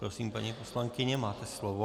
Prosím, paní poslankyně, máte slovo.